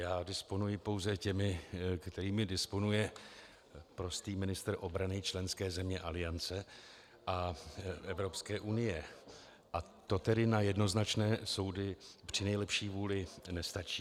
Já disponuji pouze těmi, kterými disponuje prostý ministr obrany členské země Aliance a Evropské unie, a to tedy na jednoznačné soudy při nejlepší vůli nestačí.